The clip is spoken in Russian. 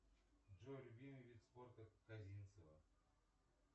джой любимый вид спорта казинцева